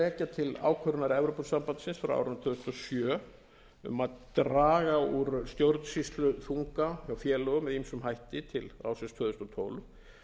rekja til ákvörðunar evrópusambandsins frá árinu tvö þúsund og sjö um að draga úr stjórnsýsluþunga hjá félögum með ýmsum hætti til ársins tvö þúsund og tólf